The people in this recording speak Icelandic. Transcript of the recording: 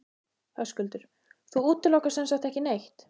Höskuldur: Þú útilokar sem sagt ekki neitt?